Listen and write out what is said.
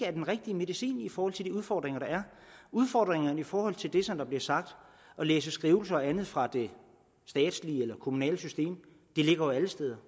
er den rigtige medicin i forhold til de udfordringer der er udfordringerne i forhold til det som der bliver sagt at læse skrivelser og andet fra det statslige eller det kommunale system ligger jo alle steder